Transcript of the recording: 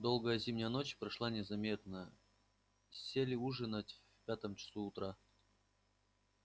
долгая зимняя ночь прошла незаметно сели ужинать в пятом часу утра